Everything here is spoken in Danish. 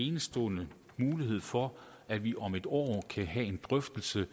enestående mulighed for at vi om et år kan have en drøftelse